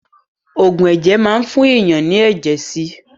Ògùn ẹ̀jẹ̀ máa ń fún èèyàn ní ẹ̀jẹ̀ sí